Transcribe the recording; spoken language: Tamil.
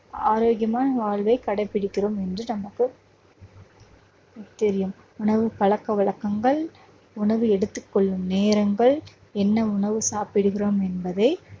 ஆரோக்கியமான வாழ்வை கடைப்பிடிக்கிறோம் என்று நமக்கு தெரியும். உணவு பழக்கவழக்கங்கள் உணவு எடுத்துக் கொள்ளும் நேரங்கள் என்ன உணவு சாப்பிடுகிறோம் என்பதை